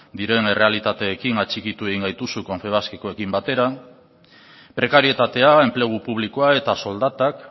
diren errealitateekin atxikitu egin gaituzu confebaskekoekin batera prekarietatea enplegu publikoa eta soldatak